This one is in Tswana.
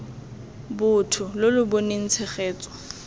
botho lo lo boneng tshegetso